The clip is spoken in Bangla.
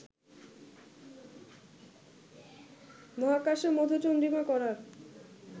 মহাকাশে মধুচন্দ্রিমা করার